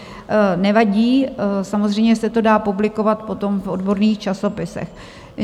Nevadí, samozřejmě se to dá publikovat potom v odborných časopisech.